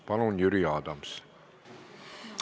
Palun, Jüri Adams!